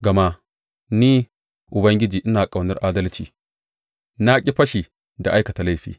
Gama ni, Ubangiji, ina ƙaunar adalci; na ƙi fashi da aikata laifi.